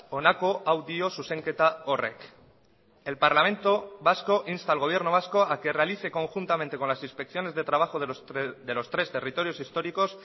honako hau dio zuzenketa horrek el parlamento vasco insta al gobierno vasco a que realice conjuntamente con las inspecciones de trabajo de los tres territorios históricos